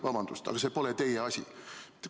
Vabandust, aga see pole teie asi!